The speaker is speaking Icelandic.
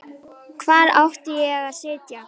Hvar átti ég þá að sitja?